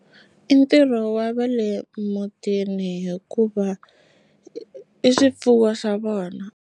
I ntirho wa va le mutini hikuva i swifuwo swa vona.